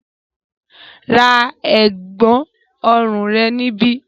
Ra ẹ̀gbọ̀n ọrùn rẹ níbí!